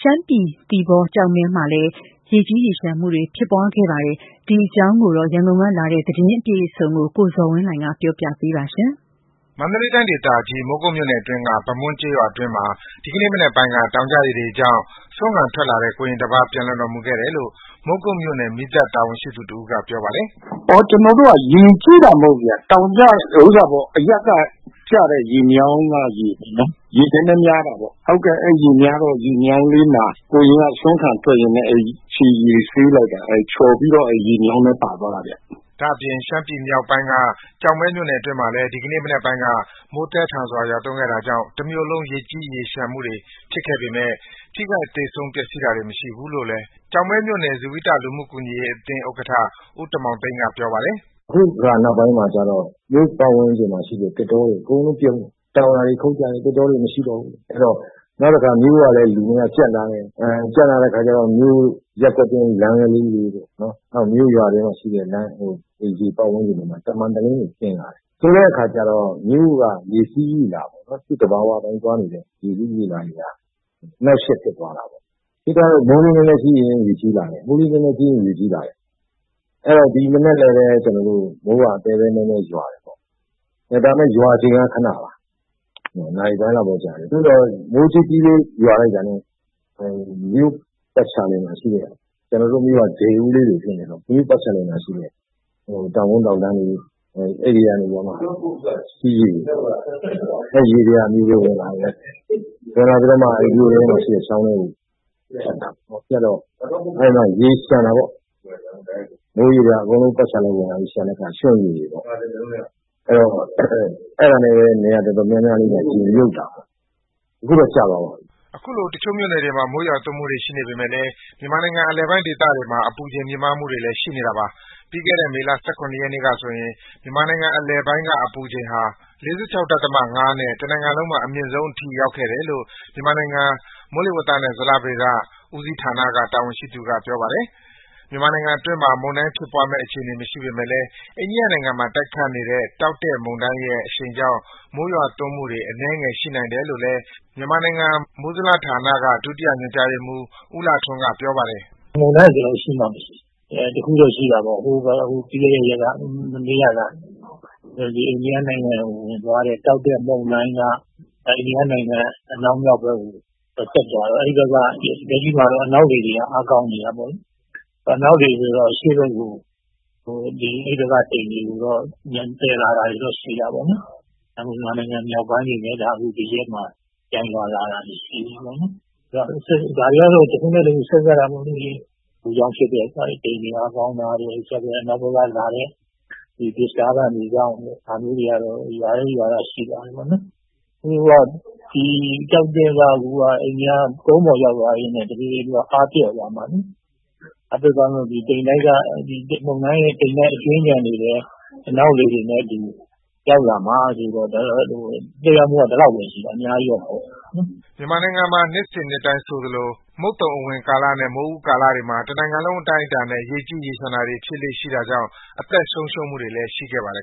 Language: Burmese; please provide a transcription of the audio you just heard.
ရှမ်းပြည်နယ်က သီပေါနဲ့ ကျောက်မဲမြို့မှာလည်း ရေကြီးရေလျှံမှုတွေ ဖြစ်ပွားခဲ့တာပါ။ ဒီအကြောင်းအပြည့်အစုံကိုတော့ ရန်ကုန်ကလာတဲ့ သတင်းကို ကိုဇော်ဝင်းလှိုင်က တင်ပြပေးပါမယ်။ မန္တလေးတိုင်းဒေသကြီး မိုးကုတ်မြို့နယ်အတွင်းက ဗမွန်းကျေးရွာအတွင်းမှာ ဒီကနေ့မနက်ပိုင်းက တောင်ကျရေတွေကြောင့် ဆွမ်းခံထွက်လာတဲ့ ကိုရင်တစ်ပါး ပျံလွန်တော်မူခဲ့တယ်လို့ မိုးကုတ်မြို့နယ် မီးသတ်တာဝန်ရှိသူ တစ်ဦးကပြောပါတယ်။ “ကျနော်တို့က ရေကြီးတာမဟုတ်ဘူးခင်ဗျာ။ တောင်ကျရေ ဟိုဟာပေါ့... အရပ်က ကျတဲ့ ရေတွေ ရေမြောင်းထဲကိုကျတော့ ရေနည်းနည်းများတာပေါ့။ အဲဒီရေမြောင်းလေးမှာ ကိုရင်က ဆွမ်းခံထွက်ရင်းနဲ့ ခြေထောက်ဆေးတာ ချော်ပြီးတော့ ရေမြောင်းထဲ ပါသွားတာဗျာ။” ဒါအပြင့် ရှမ်းပြည်နယ်မြောက်ပိုင်းက ကျောက်မဲမြို့နယ်အတွင်းမှာလည်း ဒီကနေ့ မနက်ပိုင်းက မိုးသည်းထန်စွာ ရွာသွန်းခဲ့တာကြောင့် တမြို့လုံး ရေကြီးရေလျှံတာတွေ ဖြစ်ပွားခဲ့ပေမဲ့ ထိခိုက်သေဆုံး ပျက်စီးတာတွေ မရှိဘူးလို့လည်း ကျောက်မဲမြို့နယ် ဇိဝိတလူမှုကူညီရေး အသင်းဥက္ကဋ္ဌ ဦးတင်မောင်သိန်းက ပြောပါတယ်။ “အခုနောက်ပိုင်းမှာကျတော့ မြို့ပတ်ဝန်းကျင်မှာ ရှိတဲ့ သစ်တောတွေ အကုန်လုံးပြုန်းလာတယ်။ တောင်ယာတွေ ခုတ်ကြတယ်။ သစ်တောတွေ မရှိတော့ဘူး။ နောက်တစ်ခါ မြို့ကလည်း လူအင်အား ကြပ်လာတယ်။ ကြပ်လာတော့ ရပ်ကွက်တွင်းလမ်းတွေ နောက်မြို့ရွာအတွင်းမှာ ရှိတဲ့ အိမ်ပတ်ဝန်းကျင်တွေမှာ တမန်တလင်းတွေ ခင်းလာတယ်။ ဆိုတော့ မြို့က သူ့သဘာဝ အတိုင်းသွားနေတဲ့ ရေစီးရေလာ အနှောင့်အယှက်ဖြစ်သွားတာပေါ့။ ဆိုတော့ မိုးနည်းနည်းကြီးရင် ရေကြီးလာတယ်။ ဒီမနက်လည်း မိုးက သဲသဲမဲမဲ ရွာတယ်ပေါ့။ ရွာချိန်က ခဏပါပဲ နာရီပိုင်းလောက်ပဲကြာတယ်။ သို့သော် မိုးနည်းနည်းရွာတာနဲ့ ကျနော်တို့ မြို့က ဒယ်အိုးလို ဖြစ်နေတာ။ မြို့ပတ်လည်မှာ ရှိတဲ့ တောင်ကုန်းတောင်တန်းတွေက ရေတွေက မြို့ထဲဝင်ပြီး မြို့ထဲမှာ ရှိတဲ့ ချောင်းထဲကို ဝင်လာတော့ ရေလျှံတာပေါ့။ အဲဒါနဲ့ပဲ မြို့က နေရာတော်တော်များများမှာ ရေမြုပ်တာပေါ့။ အခုတော့ ကျသွားပါပြီ။” တချို့မြို့နယ်တွေမှာ မိုးရွာသွန်းမှုတွေ ရှိနေပေမဲ့လည်း မြန်မာနိုင်ငံ အလယ်ပိုင်း ဒေသတွေမှာ အပူအချိန်မြင့်မားမှုတွေလည်း ရှိနေတာပါ။ ပြီးခဲ့တဲ့ မေလ ၁၇ ရက်နေ့ကဆိုရင် မြန်မာနိုင်ငံအလယ်ပိုင်း အပူချိန်က ၄၆.၅ နဲ့ တစ်နိုင်ငံလုံးမှာ အမြင့်ဆုံးဖြစ် အထိရောက်ခဲ့တယ်လို့ မြန်မာနိုင်ငံ မိုးလေဝသနဲ့ ဇလဗေဒဌာနတာဝန်ရှိသူက ပြောပါတယ်။ မြန်မာနိုင်ငံအတွင်းမှာ မုန်တိုင်းဖြစ်ပွားမယ့်အခြေအနေမရှိပေမဲ့လည်း အိန္ဒိယနိုင်ငံမှာ တိုက်ခတ်နေတဲ့ တောက်တဲ့မုန်တိုင်းရဲ့ အရှိန်ကြောင့် မိုးရွာသွန်းမှုတွေ အနည်းငယ်ရှိနိုင်တယ်လို့လည်း မြန်မာနိုင်ငံ မိုးလေဝသနဲ့ ဇလဗေဒဌာနက ဒုတိယညွန်ကြားရေးမှူး ဦးလှထွန်းက ပြောပါတယ်။ “မုန်တိုင်းက ရှိမှမရှိတာ။ ဒါပေမဲ့ မနေ့ကလား ပြီးခဲ့တဲ့ ရက်က အိန္ဒိယနိုင်ငံကို ဝင်သွားတဲ့ တောက်တဲ့ မုန်တိုင်းက အန္ဒိယနိုင်ငံအနောက်မြောက်ဘက်ကို ဆက်သွားတော့ အဲဒီဘက်က လက်ရှိမှာတော့ အနောက်လေတွေက အားကောင်းနေတာပေါ့။ အနောက်လေဆိုတော့ အရှေ့ဘက်ကို အဲဒီဘက်က တိမ်တွေကို သယ်လာတာတော့ ရှိတာပေါ့လေ။ အဲဒ့ကြောင့် မြန်မာနိုင်ငံမြောက်ပိုင်းတွေမှာ ပြန်ရွာလာတာတွေ ရှိတယ်။ ဒါတွေကတော့ တစ်ခုခုနဲ့ တစ်ခုခု ဆက်စပ်တာပေါ့လေ။ အပူကြောင့် ဖြစ်တဲ့ တိမ်တွေ အားကောင်းတာတွေကြောင့် ဒါမျိုးတွေကကတော့ ရွာလေ့ရွာထ ရှိပါတယ်။ တောက်တဲ့က ကုန်းပေါ်ရောက်သွားပြီးတော့ တစ်ဖြည်းဖြည်း အားပျော့သွားမှာလေ။ အကြွင်းအကျန်တွေကတော့ အနောက်လေတွေနဲ့ ရောက်လာမှာဆိုတော့ သက်ရောက်မှုက ဒီလောက်ပဲရှိတာ။ အများကြီးတော့ မရှိပါဘူး။ ” မြန်မာနိုင်ငံမှာ နှစ်စဉ်နှစ်တိုင်းဆိုသလို မုတ်သုံအဝင်ကာလနဲ့ မိုးဦးကလာတွေမှာ တစ်နိုင်ငံလုံး အတိုင်းအတာနဲ့ ရေကြီးရေလျှံတာတွေ ဖြစ်လေ့ရှိတာကြောင့် အသက်ဆုံးရှုံးမှုတွေလည်း ရှိခဲ့ပါတယ်